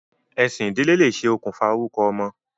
Ẹ̀sìn ìdílé lè ṣe okùnfà orúkọ ọmọ.